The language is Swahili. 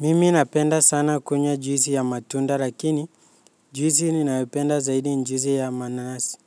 Mimi napenda sana kunywa juisi ya matunda lakini juisi ninayopenda zaidi ni juisi ya mananasi